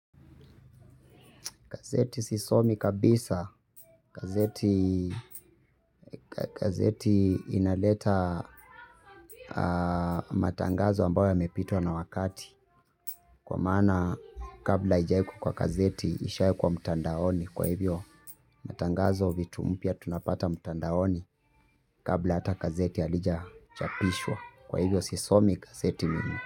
Gazeti sisomi kabisa. Gazeti gazeti inaleta matangazo ambayo yamepitwa na wakati. Kwa maana kabla haijawekwa kwa gazeti, ishawekwa mtandaoni. Kwa hivyo matangazo vitu mpya tunapata mtandaoni kabla hata gazeti halija chapishwa. Kwa hivyo sisomi gazeti mimi.